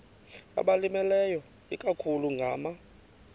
abalimileyo ikakhulu ngama